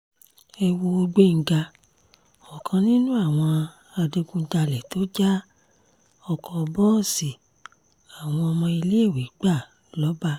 ẹ wo gbéńgá ọ̀kan nínú àwọn adigunjalè tó já ọkọ̀ bọ́ọ̀sì àwọn ọmọ iléèwé gbà lọ́ba